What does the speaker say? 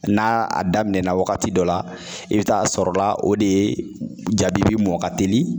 Na a daminɛna wagati dɔ la i bi taa sɔrɔ la o de jabibi mɔ ka teli